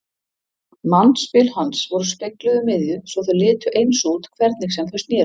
Mannspil hans voru spegluð um miðju svo þau litu eins út hvernig sem þau sneru.